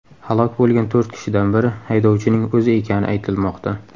Halok bo‘lgan to‘rt kishidan biri haydovchining o‘zi ekani aytilmoqda.